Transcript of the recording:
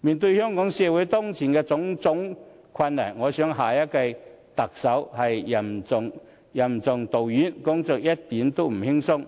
面對香港社會當前的種種困難，我認為下任特首是任重道遠，工作一點也不輕鬆，